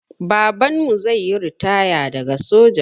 Babanmu zaiyi ritaya daga soja